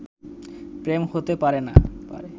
প্রেম হতে পারে না